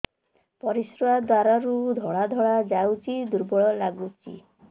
ପରିଶ୍ରା ଦ୍ୱାର ରୁ ଧଳା ଧଳା ଯାଉଚି ଦୁର୍ବଳ ଲାଗୁଚି